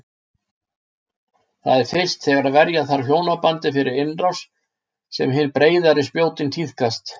Það er fyrst þegar verja þarf hjónabandið fyrir innrás sem hin breiðari spjótin tíðkast.